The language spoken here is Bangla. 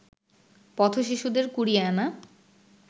পথ-শিশুদের কুড়িয়ে আনা